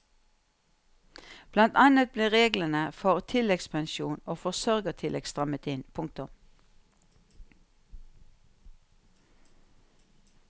Blant annet ble reglene for tilleggspensjon og forsørgertillegg strammet inn. punktum